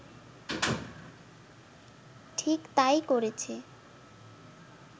ঠিক তাই করেছে